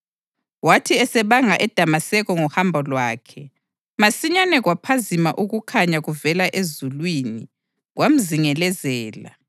Wathi esebanga eDamaseko ngohambo lwakhe, masinyane kwaphazima ukukhanya kuvela ezulwini kwamzingelezela.